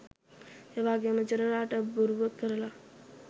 ඒවගේම ජෙනරාල්ට බොරුව කරලා